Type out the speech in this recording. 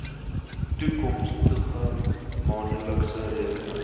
toekomstige maandelikse rekeninge